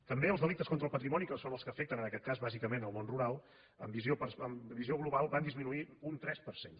també els delictes contra el patrimoni que són els que afecten en aquest cas bàsicament el món rural amb visió global van disminuir un tres per cent